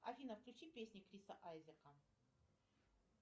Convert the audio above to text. афина включи песни криса айзека